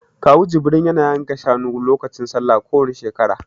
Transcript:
Kawu Jibril ya na yanka shanu lokacin Sallah kowani shekara